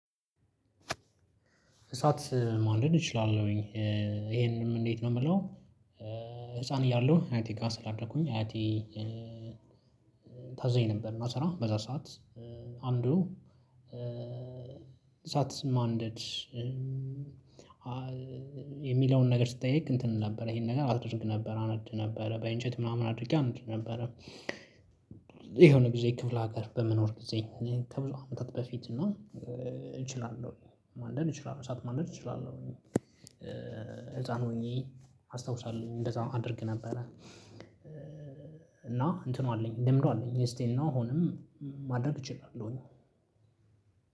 እሳት ማንደድ እችላለሁኝ ይሄንንም እንዴት ነው የምለው? ህፃን እያለሁ አያቴ ጋር ስላደኩኝ አያቴ ታዘኝ ነበር እና ስራ በዛ ሰዓት። አንዱ እሳት ማንደድ። የሚለውን ነገር ስትጠይቅ እንትን ነበረ ይሄን ነገር አደርግ ነበር አነድ ነበረ በእንጨት ምናምን አድርጌ አነድ ነበረ። የሆነ ጊዜ ክፍለ ሀገር በመኖር ጊዜ ከብዙ አመታት በፊት እና እችላለሁ ማንደድ እችላለሁ እሳት ማንደድ እችላለሁ። ህፃን ሆኜ አስታውሳለሁ እንደዛ አድርግ ነበረ። እና እንትኑ አለኝ ልምዱ አለኝ ስቲል እና አሁንም ማድረግ እችላለሁኝ።